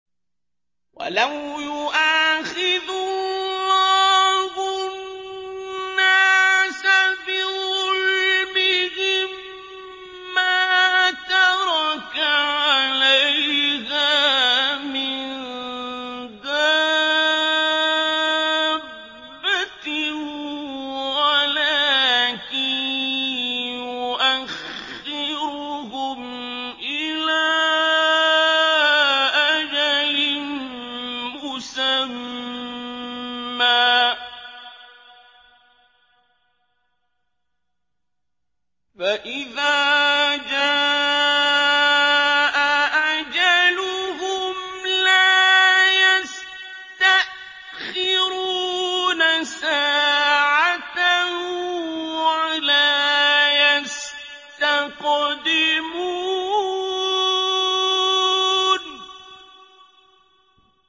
وَلَوْ يُؤَاخِذُ اللَّهُ النَّاسَ بِظُلْمِهِم مَّا تَرَكَ عَلَيْهَا مِن دَابَّةٍ وَلَٰكِن يُؤَخِّرُهُمْ إِلَىٰ أَجَلٍ مُّسَمًّى ۖ فَإِذَا جَاءَ أَجَلُهُمْ لَا يَسْتَأْخِرُونَ سَاعَةً ۖ وَلَا يَسْتَقْدِمُونَ